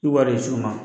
I wari ye cogo ma